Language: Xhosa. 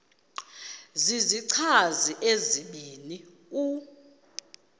zizichazi ezibini u